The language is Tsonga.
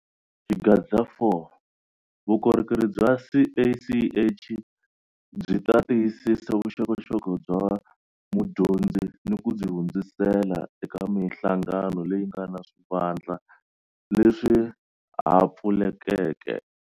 Xigava 4- Vukorhokeri bya CACH byi ta tiyisisa vuxokoxoko bya mudyondzi ni ku byi hundzisela eka mihlangano leyi nga na swivandla leswi ha pfulekeke.